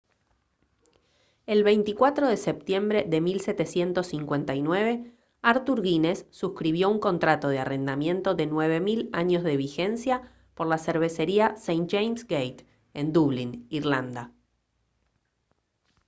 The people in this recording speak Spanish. el 24 de septiembre de 1759 arthur guinness suscribió un contrato de arrendamiento de 9000 años de vigencia por la cervecería st james's gate en dublín irlanda